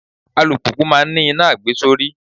Alùpùpù máa ń ní iná àgbesórí.